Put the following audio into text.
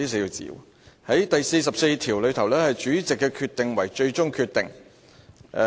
《議事規則》第44條訂明："主席決定為最終決定"。